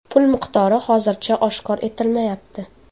Pul miqdori hozircha oshkor etilmayapti.